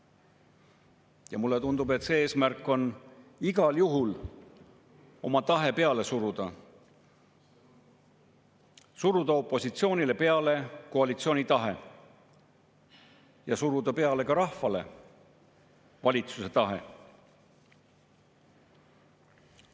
Ja mulle tundub, et see eesmärk on igal juhul oma tahe peale suruda – suruda opositsioonile peale koalitsiooni tahe ja suruda peale ka rahvale valitsuse tahe.